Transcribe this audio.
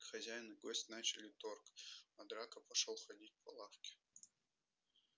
хозяин и гость начали торг а драко пошёл ходить по лавке